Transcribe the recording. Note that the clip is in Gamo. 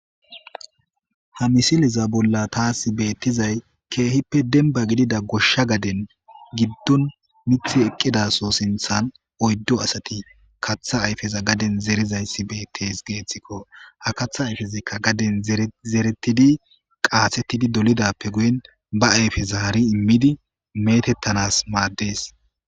Ha misiliza bolla taas beettizay keehippe demba gidida goshsha gaden giddon mithi eqqidaso sinthan oyddo asati katha ayfeza gaden zerizayssi bettes geeththikko ha katha ayfizikka gaden zeretidi qaasettidi dolidappe guyen ba ayfesa hari immidi metettanas maaddees